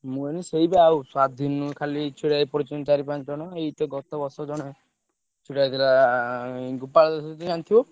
ମୁ କହିଲି ସେଇ ସ୍ବାଧୀନ ରୁ ଖାଲି ଛିଡା ହେଇପଡ଼ୁଛନ୍ତି ଚାରି ପାଞ୍ଚ ଜଣ ଏଇ ତ ଗତ ବର୍ଷ ଜଣେ ଛିଡା ହେଇଥିଲା ଜାଣିଥିବ।